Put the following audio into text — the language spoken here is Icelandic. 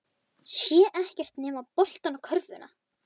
Sér ekkert nema boltann og körfuna.